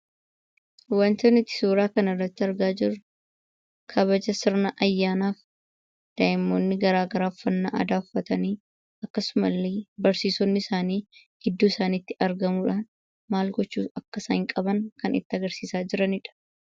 Waanti nuti suura kana irratti argaa jirru, kabaja sirna ayyaanaa daa'imoonni garaagaraa uffannaa aadaa uffatanii, akkasuma illee barsiisonni isaanii gidduu isaaniitti argamuudhaan maal gochuu akka isaan qaban kan isaanitti agarsiisaa jirudha.